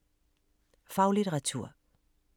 Faglitteratur